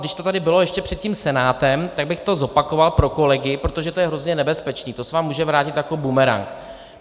Když to tady bylo ještě před tím Senátem, tak bych to zopakoval pro kolegy, protože to je hrozně nebezpečné, to se vám může vrátit jako bumerang.